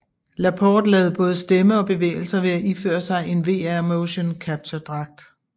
Laporte lavede både stemme og bevægelser ved at iføre sig en VR motion capture dragt